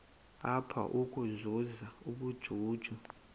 apha ukuzuza ubujuju